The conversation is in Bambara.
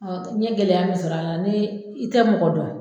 n ye gɛlɛya min sɔrɔ a la ni i tɛ mɔgɔ dɔn.